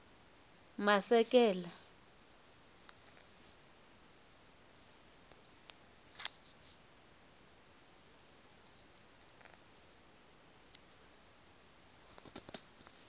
masekela